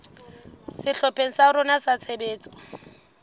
sehlopheng sa rona sa tshebetso